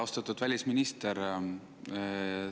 Austatud välisminister!